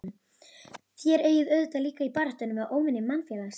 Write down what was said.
Þér eigið auðvitað líka í baráttu við óvini mannfélagsins?